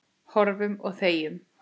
Horfum og þegjum.